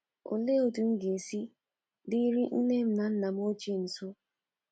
Olee otú M ga-esi diri nne m na nna M ochie nso?